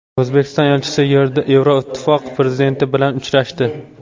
O‘zbekiston elchisi Yevroittifoq prezidenti bilan uchrashdi.